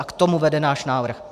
A k tomu vede náš návrh.